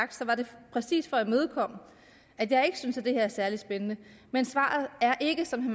præcis for at imødekomme at jeg ikke synes det her er særlig spændende men svaret er ikke som